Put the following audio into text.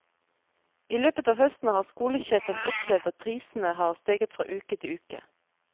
I løpet av høsten har skolesjefen opplevd at prisene har steget fra uke til uke.